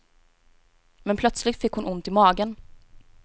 Men plötsligt fick hon ont i magen.